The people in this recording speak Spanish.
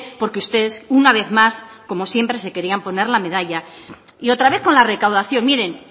porque ustedes una vez más como siempre se querían poner la medalla y otra vez con la recaudación miren